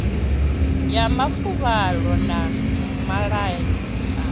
ya mafuvhalo na malwadze a